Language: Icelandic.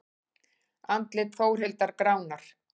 Andlit Þórhildar gránar.